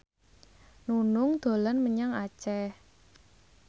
Nunung dolan menyang Aceh